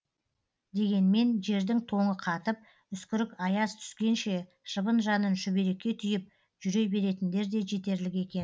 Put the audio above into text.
дегенмен жердің тоңы қатып үскірік аяз түскенше шыбын жанын шүберекке түйіп жүре беретіндер де жетерлік екен